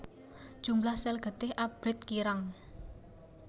Jumlah sel getih abrit kirang